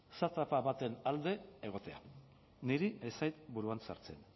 baten alde egotea niri ez zait buruan sartzen